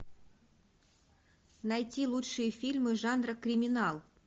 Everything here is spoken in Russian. найти лучшие фильмы жанра криминал